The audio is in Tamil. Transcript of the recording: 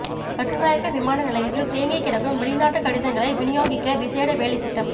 கட்டுநாயக்க விமானநிலையத்தில் தேங்கி கிடக்கும் வெளிநாட்டு கடிதங்களை விநியோகிக்க விசேட வேலைத்திட்டம்